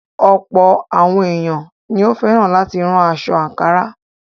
Ọ̀̀pọ̀ àwọn èèyàn ní ó fẹ́ràn láti rán aṣọ àǹkárá.